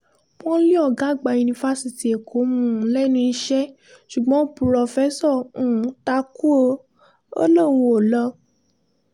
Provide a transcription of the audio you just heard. wọ́n lé ọ̀gá-àgbà yunifásitì èkó um lẹ́nu iṣẹ́ ṣùgbọ́n pùròfẹ́sọ um ta kú ó lóun ò lọ